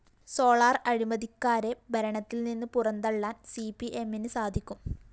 solar അഴിമതിക്കാരെ ഭരണത്തിൽനിന്ന് പുറന്തള്ളാൻ സിപിഎമ്മിന് സാധിക്കും